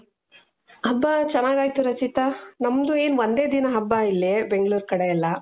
ಹಬ್ಬಾ ಚೆನ್ನಾಗಾಯ್ತು ರಚಿತಾ ನಮ್ದು ಏನ್ ಒಂದೇ ದಿನಾ ಹಬ್ಬ ಇಲ್ಲಿ ಬೆಂಗಳೂರು ಕಡೆ ಎಲ್ಲಾ .